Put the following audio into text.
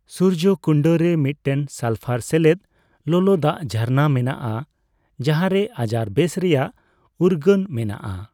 ᱥᱩᱨᱡᱚᱠᱩᱱᱰ ᱨᱮ ᱢᱤᱫᱴᱮᱱ ᱥᱟᱞᱯᱷᱟᱨ ᱥᱮᱞᱮᱫ ᱞᱚᱞᱚ ᱫᱟᱜ ᱡᱷᱟᱨᱱᱟ ᱢᱮᱱᱟᱜᱼᱟ ᱡᱟᱦᱟᱸᱨᱮ ᱟᱡᱟᱨ ᱵᱮᱥ ᱨᱮᱭᱟᱜ ᱩᱨᱜᱟᱹᱱ ᱢᱮᱱᱟᱜᱼᱟ ᱾